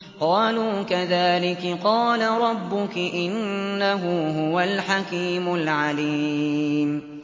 قَالُوا كَذَٰلِكِ قَالَ رَبُّكِ ۖ إِنَّهُ هُوَ الْحَكِيمُ الْعَلِيمُ